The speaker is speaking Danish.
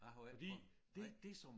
Jeg har jo ikke prøvet nej